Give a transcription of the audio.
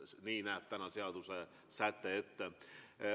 Nii näeb täna seadusesäte ette.